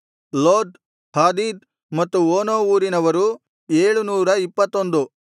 ಲೋದ್ ಹಾದೀದ್ ಮತ್ತು ಓನೋ ಊರಿನವರು 721